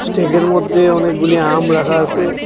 ট্রেকের মধ্যে অনেকগুলি আম রাখা আসে।